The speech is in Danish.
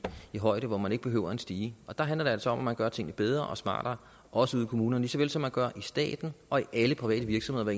en højde hvor man ikke behøver en stige og der handler det altså om at man gør tingene bedre og smartere også ude i kommunerne lige så vel som man gør i staten og i alle private virksomheder